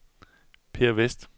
Per Westh